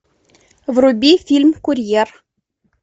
вруби фильм курьер